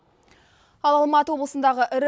ал алматы облысындағы ірі